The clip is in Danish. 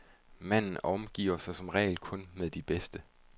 Manden omgiver sig som regel kun med de bedste.